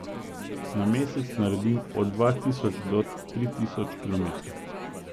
Na mesec naredim od dva tisoč do tri tisoč kilometrov.